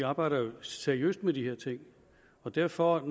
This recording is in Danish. arbejder seriøst med de her ting og derfor